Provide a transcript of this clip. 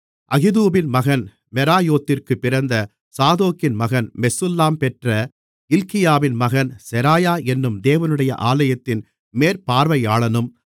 அகிதூபின் மகன் மெராயோத்திற்குப் பிறந்த சாதோக்கின் மகன் மெசுல்லாம் பெற்ற இல்க்கியாவின் மகன் செராயா என்னும் தேவனுடைய ஆலயத்தின் மேற்பார்வையாளனும்